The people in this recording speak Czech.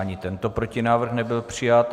Ani tento protinávrh nebyl přijat.